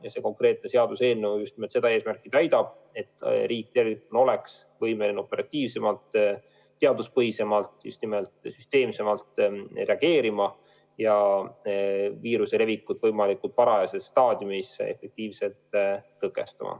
Ja see konkreetne seaduseelnõu just nimelt seda eesmärki silmas peab, et riik tervikuna oleks võimeline operatiivsemalt, teaduspõhisemalt, süsteemsemalt reageerima ja viiruse levikut võimalikult varajases staadiumis efektiivselt tõkestama.